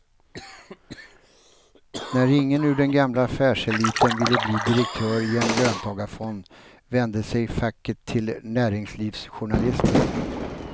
När ingen ur den gamla affärseliten ville bli direktör i en löntagarfond vände sig facket till näringslivsjournalister.